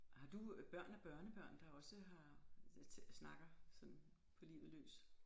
Har du børn og børnebørn der også har snakker sådan på livet løs